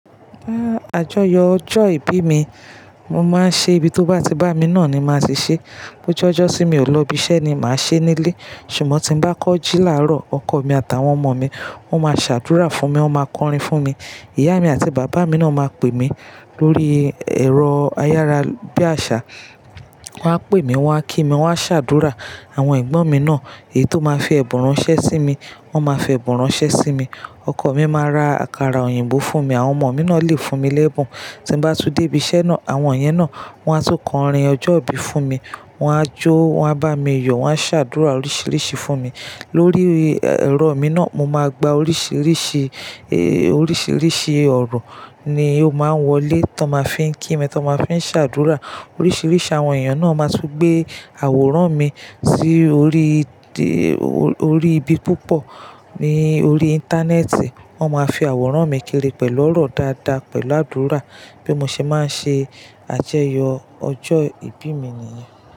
Fun àjọyọ̀ ọjọ́ ìbí mi, mo máa ń ṣe, ibi tó bá ti bá mi náà ni màá ti ṣé. Bo je ọjọ́ tí mi ò lọ ibi iṣẹ́ ni màá ṣe nílé. Ṣùgbọ́n tí bá kọ́ jí láàárọ̀, ọkọ̀ mi àtàwọn ọmọ mi, wọ́n máa ṣàdúrà fún mi, wọ́n máa kọrin fún mi. Ìyá mi àti bàbá mi náà máa pè mí lórí ẹ̀rọ ayára bí àṣá. Wọ́n á pè mí, wọ́n á kí mi, wọ́n á ṣàdúrà. Àwọn ẹ̀gbọ́n mi náà èyí tó máa fi ẹ̀bùn ránṣẹ́ sí mi. Wọ́n máa fi ẹ̀bùn ránṣẹ́ sí mi. Ọkọ̀ mi máa ra àkàrà òyìnbó fún mi. Àwọn ọmọ mi náà lè fún mi lẹ́bùn. Tí bá tú dé ibi iṣẹ́ náà, àwọn iyẹn náà wọ́n á ti kọrin ọjọ́ ìbí fún mi. Wọ́n á jó, wọ́n á bá mi yọ̀, wọ́n á ṣàdúrà oríṣiríṣi fún mi. Lórí ẹ̀rọ mi náà, mo máa gba oríṣiríṣi, oríṣiríṣi ọ̀rọ̀ ni ó máa ń wọlé tí wọ́n máa fí ń kí mi, tí wọ́n máa fí ń ṣàdúrà. Oríṣiríṣi àwọn èèyàn náà máa tún gbé àwòrán mi sí orí, orí ibi púpọ̀ ní orí Íńtánẹ́ẹ̀tì. Wọ́n máa fi àwòrán mi kiri pẹ̀lú ọ̀rọ̀ dáadáa, pẹ̀lú àdúrà bí mo ṣe máa ṣe àjọyọ̀ ọjọ́ ìbí mi nìyẹn.